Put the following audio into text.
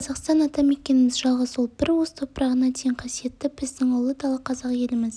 ол қазақстан атамекеніміз жалғыз ол бір уыс топырағына дейін қасиетті біздің ұлы дала қазақ еліміз